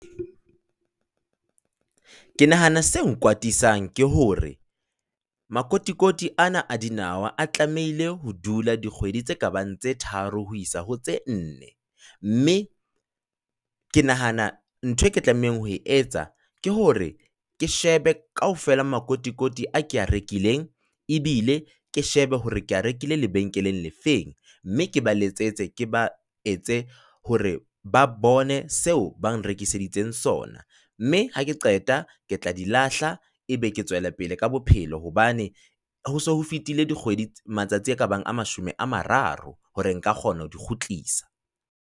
Ke nahana se kwatisang ke hore makotikoti ana a dinawa a tlamehile ho dula dikgwedi tse kabang tse tharo ho isa ho tse nne, mme ke nahana ntho eo ke tlamehang ho etsa ke hore ke shebe kaofela makotikoti a o ke a rekileng ebile ke shebe hore ke a rekile lebenkeleng le feng mme ke ba letsetse, ke ba etse hore ba bone seo ba nrekiseditseng sona mme ha ke qeta ke tla di lahla ebe ke tswela pele ka bophelo hobane ho se ho fetile dikgwedi matsatsi a ka bang a mashome a mararo hore nka kgona ho di kgutlisa.